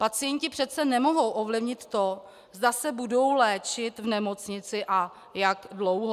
Pacienti přece nemohou ovlivnit to, zda se budou léčit v nemocnici a jak dlouho.